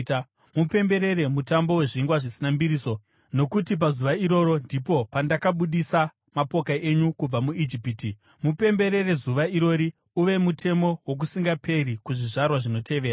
“Mupemberere Mutambo weZvingwa Zvisina Mbiriso, nokuti pazuva irori ndipo pandakabudisa mapoka enyu kubva muIjipiti. Mupemberere zuva irori uve mutemo wokusingaperi kuzvizvarwa zvinotevera.